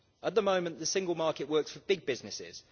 At the moment the single market works for big businesses.